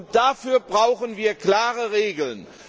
Und dafür brauchen wir klare Regeln.